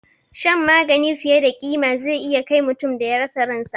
Shan magani fiye da ƙima zai iya kai mutum da ya rasa ransa